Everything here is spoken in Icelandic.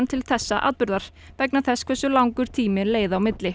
til þessa atburðar vegna þess hversu langur tími leið á milli